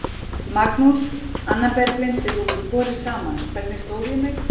Magnús: Anna Berglind, við tókum sporið saman, hvernig stóð ég mig?